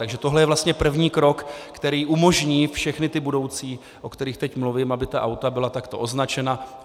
Takže tohle je vlastně první krok, který umožní všechny ty budoucí, o kterých teď mluvím, aby ta auta byla takto označena.